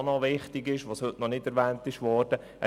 Auch noch wichtig und heute noch nicht erwähnt worden ist: